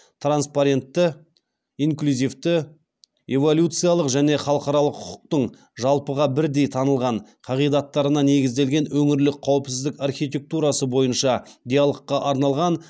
транспарентті инклюзивті эволюциялық және халықаралық құқықтың жалпыға бірдей танылған қағидаттарына негізделген өңірлік қауіпсіздік архитектурасы бойынша диалогқа арналған